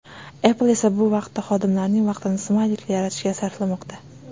Apple esa bu vaqtda xodimlarining vaqtini smayliklar yaratishga sarflamoqda.